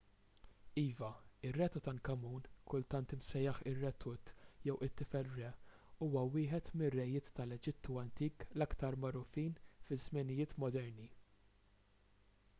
iva ir-re tutankhamun kultant imsejjaħ ir-re tut jew it-tifel re huwa wieħed mir-rejiet tal-eġittu antik l-aktar magħrufin fiż-żminijiet moderni